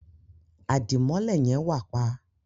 Adimọlẹ yen wà pa.